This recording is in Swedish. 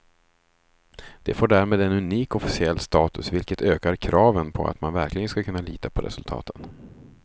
Det får därmed en unik officiell status, vilket ökar kraven på att man verkligen ska kunna lita på resultaten.